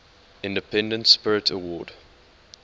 independent spirit award